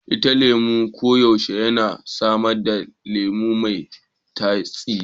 Itacen lemu koyaushe yana samar da lemu mai tsami.